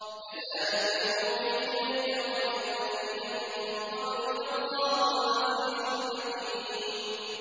كَذَٰلِكَ يُوحِي إِلَيْكَ وَإِلَى الَّذِينَ مِن قَبْلِكَ اللَّهُ الْعَزِيزُ الْحَكِيمُ